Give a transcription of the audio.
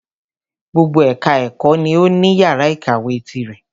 Gbogbo ẹka ẹ̀kọ́ ni o ní yàrá ìkàwé tirẹ̀.